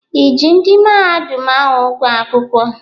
I ji ndị mahadum ahụ ụgwọ akwụkwọ?